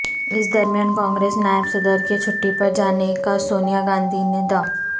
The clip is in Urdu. اس درمیان کانگریس نائب صدر کے چھٹی پر جانے کا سونیا گاندھی نے د